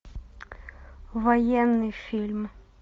военный фильм